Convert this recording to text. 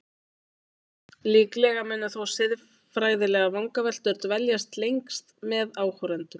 Líklega munu þó siðfræðilegar vangaveltur dvelja lengst með áhorfendum.